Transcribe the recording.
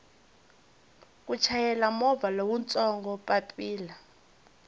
ku chayela movha lowutsongo papila